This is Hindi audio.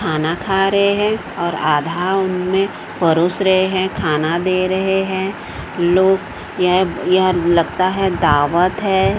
खाना खा रहे हैं और आधा उन में परोस रहे हैं खाना दे रहे हैं लोग यह यह लगता है दावत है।